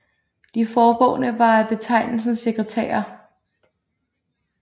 De forgående var af betegnelsen sekretærer